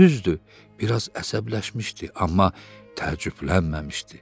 Düzdür, biraz əsəbləşmişdi, amma təəccüblənməmişdi.